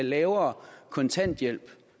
lavere kontanthjælp